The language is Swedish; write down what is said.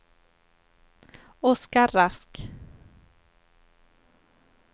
Oscar Rask